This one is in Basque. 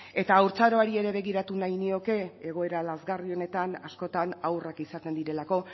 eta haurtzaroari ere begiratu nahi nioke egoera lazgarri honetan askotan haurrak izaten direlako